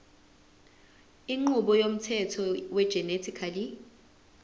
inqubo yomthetho wegenetically